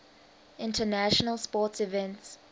international sports events